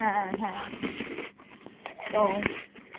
হ্যাঁ হ্যাঁ, তো